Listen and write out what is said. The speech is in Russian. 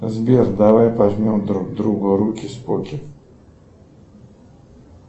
сбер давай пожмем друг другу руки споки